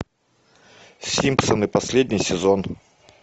симпсоны последний сезон